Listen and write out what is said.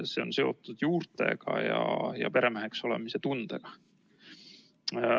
See on seotud juurtega ja peremeheks olemise tundega.